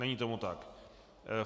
Není tomu tak.